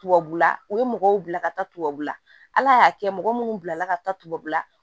Tubabula u ye mɔgɔw bila ka taa tubabula ala y'a kɛ mɔgɔ munnu bilala ka taa tubabula